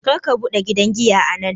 Karka buɗe gidan giya a nan!